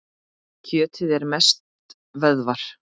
Kjötið er mest vöðvar.